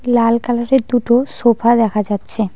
লাল কালারের দুটো সোফা দেখা যাচ্ছে।